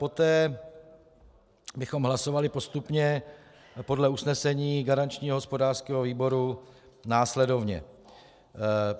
Poté bychom hlasovali postupně podle usnesení garančního hospodářského výboru následovně.